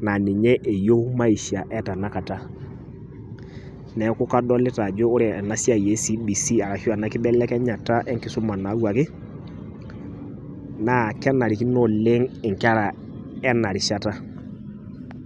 naa ninye eyieu maisha etanakata .Neeku kadolita ajo ore ena siai e cbc ashu ena kibelekenyata enkisuma nayawuaki naa kenarikino oleng inkera ena rishata.